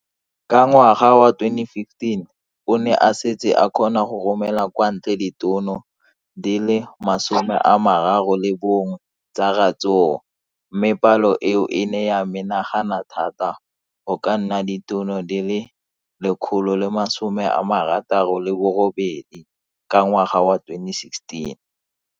Ka ngwaga wa 2015, o ne a setse a kgona go romela kwa ntle ditone di le 31 tsa ratsuru mme palo eno e ne ya menagana thata go ka nna ditone di le 168 ka ngwaga wa 2016.